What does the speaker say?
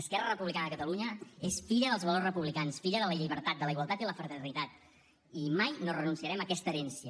esquerra republicana de catalunya és filla dels valors republicans filla de la llibertat de la igualtat i la fraternitat i mai no renunciarem a aquesta herència